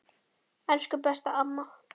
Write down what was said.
Elsku besta mamma.